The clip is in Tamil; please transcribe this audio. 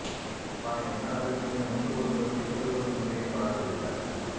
ப்பா என்ன அதிசயம் முட்டு கொடுப்படுத்தில் இப்படி ஒரு முறையை பாத்தது இல்ல